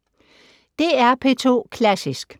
DR P2 Klassisk